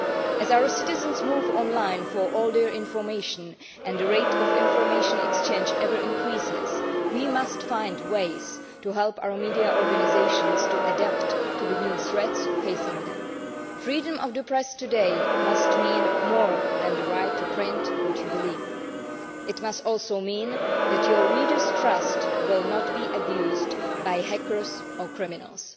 As our citizens move online for all their information and the rate of information exchange keeps increasing, we must find ways to help our media organisations adapt to the new threats facing them. Freedom of the press today must mean more than the right to print what you believe it must also mean that your readers' trust will not be abused by hackers or criminals.